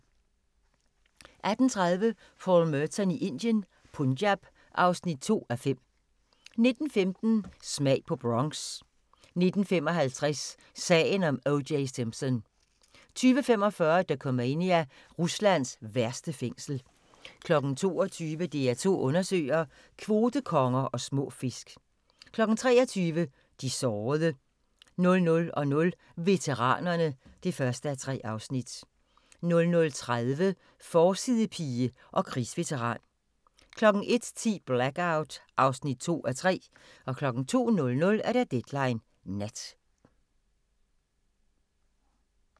18:30: Paul Merton i Indien - Punjab (2:5) 19:15: Smag på Bronx 19:55: Sagen om O.J. Simpson 20:45: Dokumania: Ruslands værste fængsel 22:00: DR2 Undersøger: Kvotekonger og små fisk 23:00: De sårede 00:00: Veteranerne (1:3) 00:30: Forsidepige og krigsveteran 01:10: Blackout (2:3) 02:00: Deadline Nat